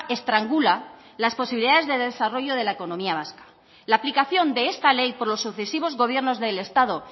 estrangula las posibilidades de desarrollo de la economía vasca la aplicación de esta ley por los sucesivos gobiernos del estado